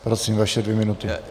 Prosím, vaše dvě minuty.